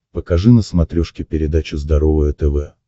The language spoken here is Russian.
покажи на смотрешке передачу здоровое тв